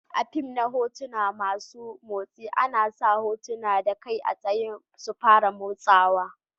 A'fim na hotuna masun motsi ana sa hotuna da kai a tsaya su fara motsawa.